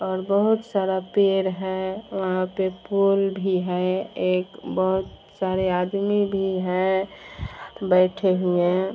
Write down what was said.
और बहुत सारा पेड़ है। वहाँ पे पोल भी है और एक बहुत सारे आदमी भी हैं बैठे हुए।